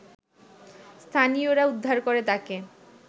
স্থানীয়রা উদ্ধার করে তাকে